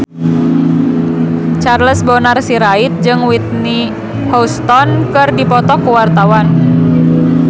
Charles Bonar Sirait jeung Whitney Houston keur dipoto ku wartawan